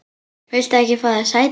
Viltu ekki fá þér sæti?